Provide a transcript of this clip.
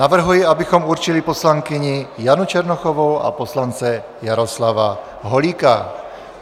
Navrhuji, abychom určili poslankyni Janu Černochovou a poslance Jaroslava Holíka.